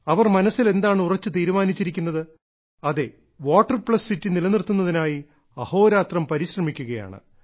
അവർ മനസ്സിൽ എന്താണ് ഉറച്ച തീരുമാനിച്ചിരിക്കുന്നത് അതെ അവർ വാട്ടർ പ്ലസ് സിറ്റി നിലനിർത്തുന്നതിനായി അഹോരാത്രം പരിശ്രമിക്കുകയാണ്